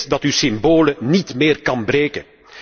U weet dat u symbolen niet meer kan breken.